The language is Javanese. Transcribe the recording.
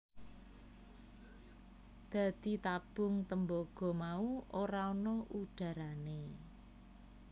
Dadi tabung tembaga mau ora ana udharane